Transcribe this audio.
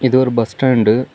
இது ஒரு பஸ்டாண்ட்டு .